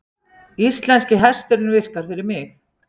Íslenski hesturinn virkar fyrir mig